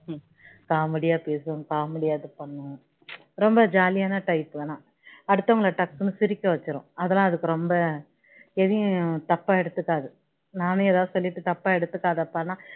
காமெடியா பேசும் காமெடியா இது பண்ணும் ரொம்ப jolly யான type ஆனா அடுத்தவங்கள டக்குன்னு சிரிக்க வச்சிடும் அதுலாம் அதுக்கு ரொம்ப எதையும் தப்பா எடுத்துகாது நானே ஏதாவது சொல்லிட்டு தப்பா எடுத்துகாதப்பான்னா